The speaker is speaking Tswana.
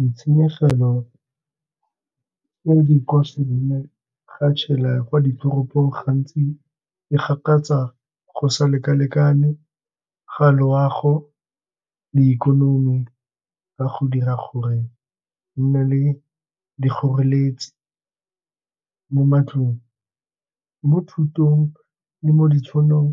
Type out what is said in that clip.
Ditshenyegelo tse di ga tshela kwa ditoropong gantsi e gakatsa go sa lekalekane ka loago le ikonomi ka go dira gore re nne le dikgoreletsi mo matlong, mo thutong le mo ditšhonong